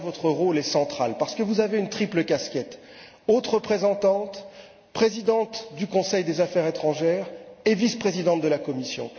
Sur ce point, votre rôle est central parce que vous avez une triple casquette haute représentante, présidente du Conseil des affaires étrangères et vice présidente de la Commission.